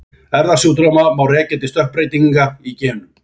Erfðasjúkdóma má rekja til stökkbreytinga í genum.